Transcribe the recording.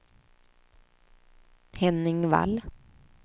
Henning Wall